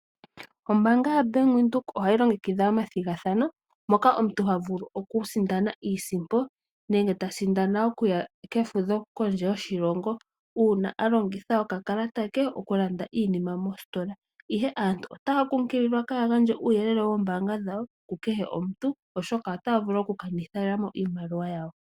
Ombaanga ya Bank Windhoek ohayi longekidha omathigathano moka omuntu ha vulu okusindana iisimpo, nenge ta sindana okuya kefudho kondje yoshilongo. Uuna a longitha okakalata ke okulanda iinima mositola, ihe aantu otaya kunkililwa kaya gandje uuyelele wombaanga dhawo kukehe omuntu, oshoka otaya vulu okukanithila mo iimaliwa yawo.